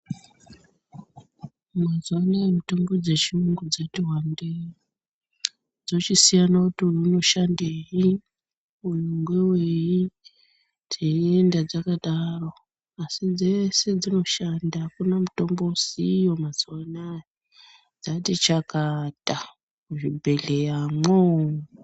Mazuwa anaya mitombo dzechiyungu dzati wande. Dzochisiyane kuti uyu unoshandei, uyu ngewei, teienda takadaro. Asi dzese dzinoshanda. Akuna mutombo usiyo mazuwa anaya, dzati chakata muzvibhedhleyamwo.